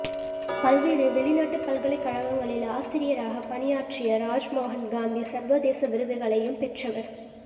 பல்வேறு வெளிநாட்டு பல்கலைகழகங்களில் ஆசிரியராகப் பணியாற்றிய ராஜ்மோகன் காந்தி சர்வதேச விருந்துகளையும் பெற்றவர்